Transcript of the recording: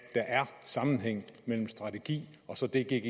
der er sammenhæng mellem strategi og så det gggi